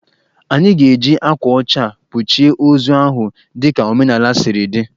Anyị ga-eji akwa ọcha kpuchie ozu ahụ dị ka omenaala si dịrị.